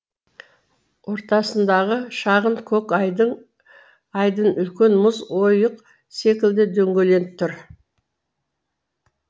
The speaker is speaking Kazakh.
ортасындағы шағын көк айдын айдын үлкен мұз ойық секілді дөңгеленіп тұр